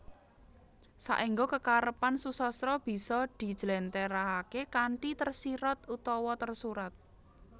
Saengga kekarepan susastra bisa dijlèntrèhaké kanthi tersirat utawa tersurat